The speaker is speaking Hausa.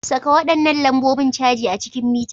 Saka waɗannan lambobin caji a cikin mita.